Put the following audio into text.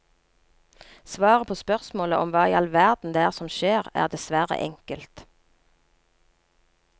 Svaret på spørsmålet om hva i all verden det er som skjer, er dessverre enkelt.